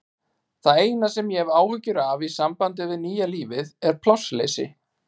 Það eina sem ég hef áhyggjur af í sambandi við nýja lífið er plássleysi.